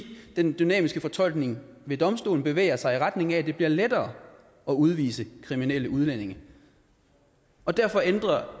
den dynamiske fortolkning ved domstolen bevæger sig i retning af at det bliver lettere at udvise kriminelle udlændinge og derfor ændrede